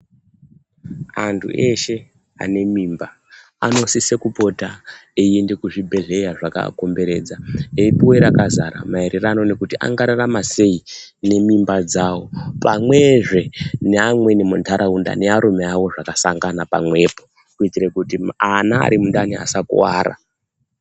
Antu eshe ane mimba anosise kupota eiende kuzvibhedhleya zvakakomberedza. Eipuve rakazara maererano nekuti angararama sei nemimba dzavo. Pamwezve neamweni mumantaraunda nearume avo zvakasangana pamwepo kuitira kuti ana ari mundani asakuvara.